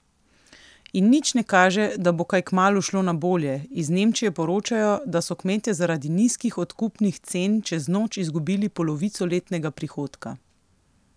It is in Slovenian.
In nič ne kaže, da bo kaj kmalu šlo na bolje, iz Nemčije poročajo, da so kmetje zaradi nizkih odkupnih cen čez noč izgubili polovico letnega prihodka.